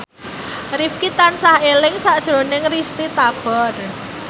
Rifqi tansah eling sakjroning Risty Tagor